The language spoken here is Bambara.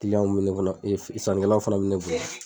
mɛ kɔnɔ sanikɛlaw fana bɛ bonya.